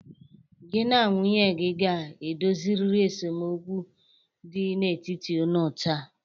Gị na nwunye gi ga-edoziriri esemokwu dị n'etiti unu taa.